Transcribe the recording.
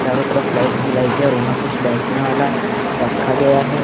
चारों तरफ लाइट ही लाइट है और वहां कुछ बैठने वाला रखा गया है।